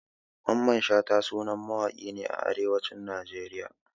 Mamman Shata sanannen mawaki ne a arewacin Najeriya